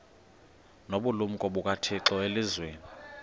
nobulumko bukathixo elizwini